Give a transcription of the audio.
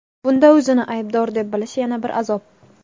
bunda o‘zini aybdor deb bilishi yana bir azob.